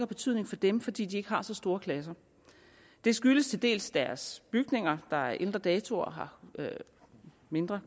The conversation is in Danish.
betydning for dem fordi de ikke har så store klasser det skyldes til dels deres bygninger der er af ældre dato og har mindre